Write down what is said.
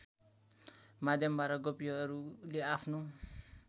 माध्यमबाट गोपीहरूले आफ्नो